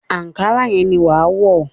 Àńkárá yẹn ni wàá wọ̀